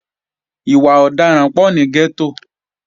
Ìwà ọ̀daràn pọ̀ ní gẹ́tò